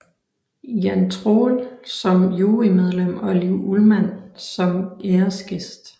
Jan Troell som jurymedlem og Liv Ullmann som æresgæst